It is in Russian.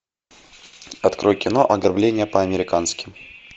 открой кино ограбление по американски